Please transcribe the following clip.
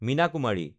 Meena Kumari